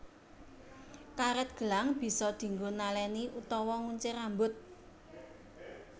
Karet gelang bisa dinggo naleni utawa nguncir rambut